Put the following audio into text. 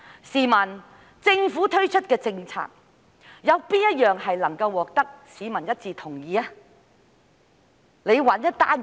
試問政府推出的哪項政策能夠獲得市民一致同意，請他們找出一項告訴我。